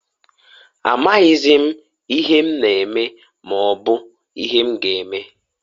Amaghịzị m ihe na eme eme, maobu ihe m ga eme.